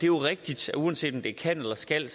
jo rigtigt at uanset om det er kan eller skal